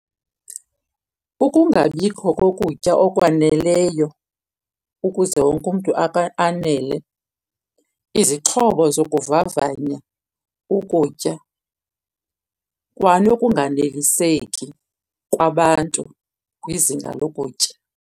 Ukungabikho kokutya okwaneleyo ukuze wonke umntu anele, izixhobo zokuvavanya ukutya, kwanokunganeliseki kwabantu kwizinga lokutya.